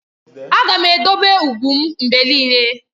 Aga m edobe ugwu m mgbe niile.